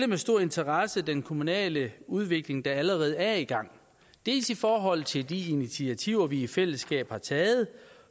med stor interesse den kommunale udvikling der allerede er i gang dels i forhold til de initiativer vi i fællesskab har taget